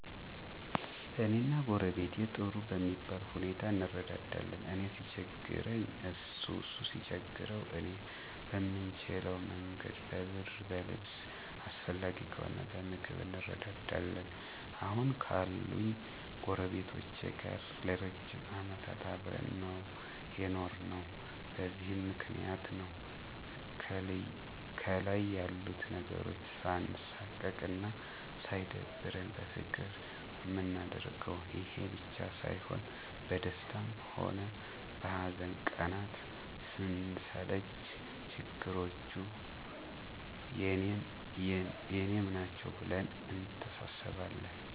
እኔና ጎረቤቴ ጥሩ በሚባል ሁኔታ እንረዳዳለን። እኔ ሲቸግረኝ እሱ እሱ ሲቸግረው እኔ በምንችለ መንገድ በብር በልብስ አስፈላጊ ከሆነ በምግብም እንረዳዳለን። አሁን ካሉኝ ጎረቤቶቼ ጋር ለ ረጅም አመታት አብረን ነው የኖርነው። በዚህም ምክንያት ነው ከልይ ያሉት ነገሮች ሳንሳቀቅ አና ሳይደብረን በፍቅር ምናደርገው። ይሄ ብቻ ሳይሆን በደስታ ሆነ በሀዘን ቀናት ስንሰለች ችግሮቹ የኔም ናቸው ብለን እንተሳሰባለን።